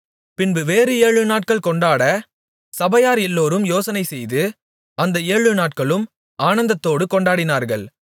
பின்பு வேறு ஏழுநாட்கள் கொண்டாட சபையார் எல்லோரும் யோசனைசெய்து அந்த ஏழுநாட்களும் ஆனந்தத்தோடு கொண்டாடினார்கள்